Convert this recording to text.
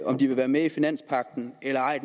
om de vil være med i finanspagten eller ej